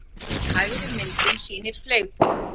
Hægri myndin sýnir fleygboga.